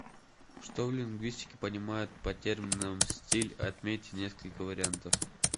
что в лингвистике понимают под термином стиль отметьте несколько вариантов